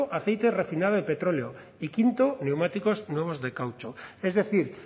aceite refinado de petróleo y quinto neumáticos nuevos de caucho es decir